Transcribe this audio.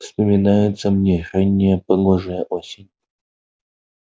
вспоминается мне ранняя погожая осень